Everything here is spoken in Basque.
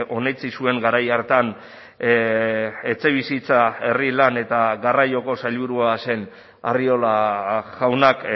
onetsi zuen garai hartan etxebizitza herri lan eta garraioko sailburua zen arriola jaunak